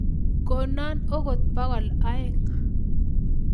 Kono akot bokol aeng